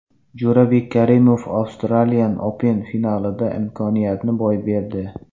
Jo‘rabek Karimov Australian Open finalida imkoniyatni boy berdi.